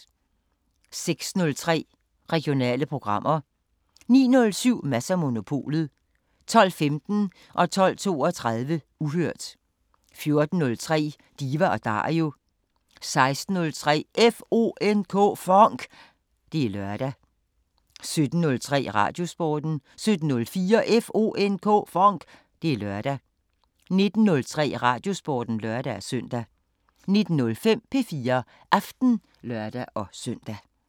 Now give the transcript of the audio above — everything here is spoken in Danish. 06:03: Regionale programmer 09:07: Mads & Monopolet 12:15: Uhørt 12:32: Uhørt 14:03: Diva & Dario 16:03: FONK! Det er lørdag 17:03: Radiosporten 17:04: FONK! Det er lørdag 19:03: Radiosporten (lør-søn) 19:05: P4 Aften (lør-søn)